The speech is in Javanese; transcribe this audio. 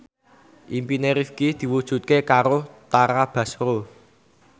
impine Rifqi diwujudke karo Tara Basro